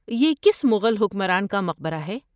یہ کس مغل حکمران کا مقبرہ ہے؟